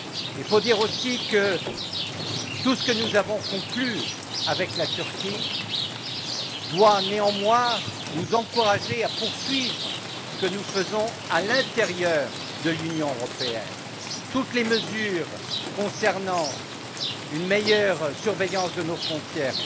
Il faut dire aussi que tout ce que nous avons conclu avec la Turquie doit néanmoins nous encourager à poursuivre ce que nous faisons à l'intérieur de l'Union européenne. Toutes les mesures concernant une meilleure surveillance de nos frontières,